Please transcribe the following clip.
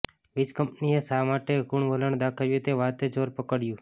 વીજકંપનીએ શા માટે કૂણુ વલણ દાખવ્યું તે વાતે જોર પકડ્યું